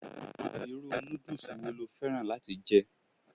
Irú noodles wo lo fẹ́ràn láti jẹ?